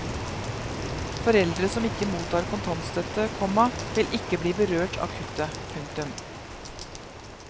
Foreldre som ikke mottar kontantstøtte, komma vil ikke bli berørt av kuttet. punktum